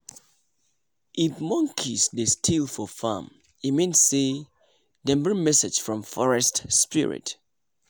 if monkeys dey steal for farm e mean say dem bring message from forest spirit